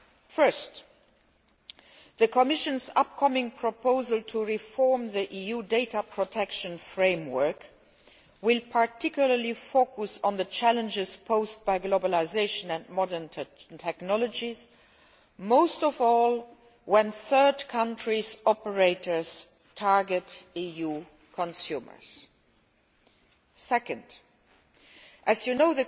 First, the Commission's forthcoming proposal to reform the EU data protection framework will focus in particular on the challenges posed by globalisation and modern technologies, most of all when third country operators target EU consumers. Second, as you know,